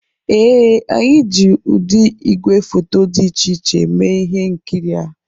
Ee, anyị ji ụdị igwefoto dị iche iche eme ihe nkiri a